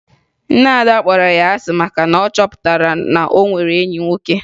Nne Ada kpọrọ ya asị maka na ọ chọpụtara na o nwere enyi nwoke